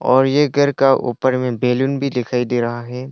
और ये घर का ऊपर में बैलून भी दिखाई दे रहा है।